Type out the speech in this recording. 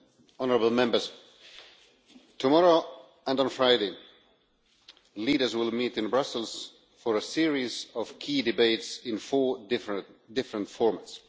honourable Members, tomorrow and on Friday, leaders will meet in Brussels for a series of key debates in four different forms.